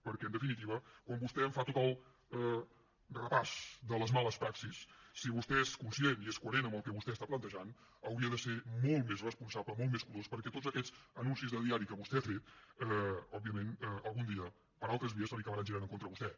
perquè en definitiva quan vostè em fa tot el repàs de les males praxis si vostè és conscient i és coherent amb el que vostè està plantejant hauria de ser molt més responsable molt més curós perquè tots aquests anuncis de diari que vostè ha fet òbviament algun dia per altres vies se li acabaran girant en contra de vostè